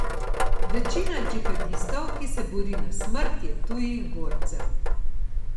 Večina džihadistov, ki se bori na smrt, je tujih borcev.